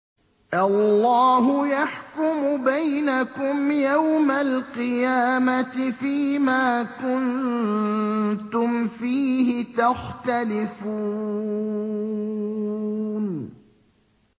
اللَّهُ يَحْكُمُ بَيْنَكُمْ يَوْمَ الْقِيَامَةِ فِيمَا كُنتُمْ فِيهِ تَخْتَلِفُونَ